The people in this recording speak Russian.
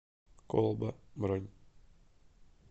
колба бронь